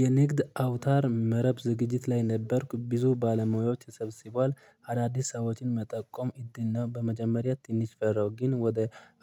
የንግድ አውታር መረብ ዝግጅት ላይ ነበርኩ። ብዙ ባለሙያዎች ተሰብስበዋል። አዳዲስ ሰዎችን መጠቆም እድል ነው። በመጀመሪያ ትንሽ ፈራው ግን ወደ